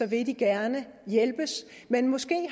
vil de gerne hjælpes men måske